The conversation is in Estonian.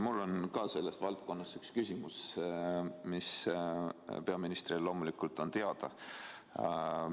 Mul on selles valdkonnas üks küsimus, mis peaministrile loomulikult teada on.